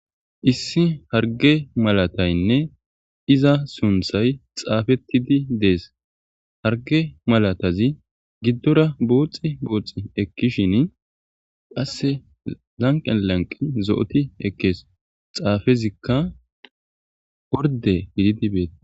Issi harge malataynne iza sunthay xaafettidi dees harge malatazi giddora booxi booxi ekkishin qasse lanqen lanqi zo7oti ekkees xaafezikka orde gididi beet.